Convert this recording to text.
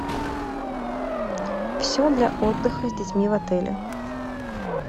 все для отдыха с детьми в отеле